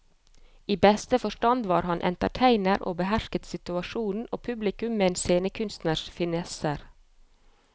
I beste forstand var han entertainer og behersket situasjonen og publikum med en scenekunstners finesser.